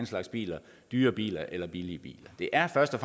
slags bil en dyr bil eller en billig bil det er først og